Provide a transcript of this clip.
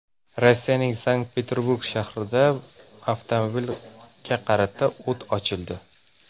Rossiyaning Sankt-Peterburg shahrida avtomobilga qarata o‘t ochildi.